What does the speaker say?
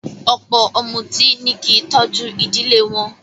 Ọ̀pọ̀ ọ̀mùtí ni kí í tọ́jú ìdílé wọn